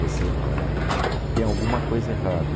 Você não é. Tem alguma coisa errada.